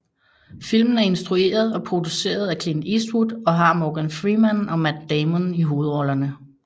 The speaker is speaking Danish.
Filmen er instrueret og produceret af Clint Eastwood og har Morgan Freeman og Matt Damon i hovedrollerne